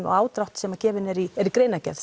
og ádrátt sem er í er í greinargerð